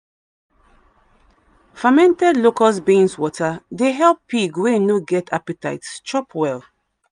fermented locust bean water dey help pig wey no get appetite chop well.